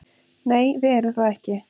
Nei, við erum það ekki